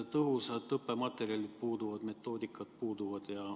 Tõhusad õppematerjalid puuduvad, metoodikad puuduvad.